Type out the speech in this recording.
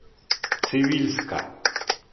цивильска